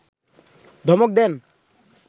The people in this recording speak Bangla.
ধমক দেন